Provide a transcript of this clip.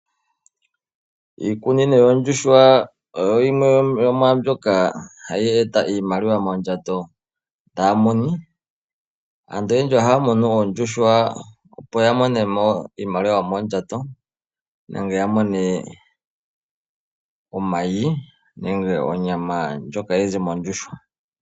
Iikunino yoondjuhwa ohayi eta iimaliwa moondjato dhaamuni. Aantu oyendji ohaya munu oondjuhwa opo ye ete oshimaliwa mondjato. Nenge ya mone omayi nenge onyama yoondjuhwa.